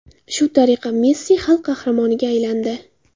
Shu tariqa Messi xalq qahramoniga aylandi.